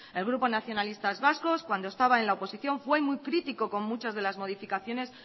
el grupo nacionalistas vascos cuando estaba en la oposición fue muy crítico con muchas de las modificaciones